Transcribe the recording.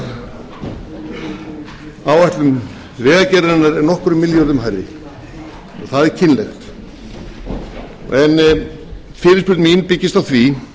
kostnaðaráætlun vegagerðarinnar er nokkrum milljörðum hærri það er kynlegt en fyrirspurn mín byggist á því